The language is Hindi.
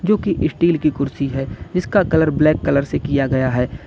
जो कि स्टील की कुर्सी है जिसका कलर ब्लैक कलर से किया गया है।